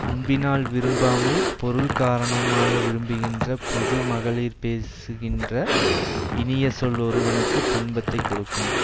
அன்பினால் விரும்பாமல் பொருள் காரணமாக விரும்புகின்ற பொது மகளிர் பேசுகின்ற இனிய சொல் ஒருவனுக்கு துன்பத்தை கொடுக்கும்